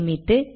சேமித்து